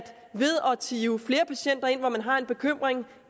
hive flere patienter ind når man har en bekymring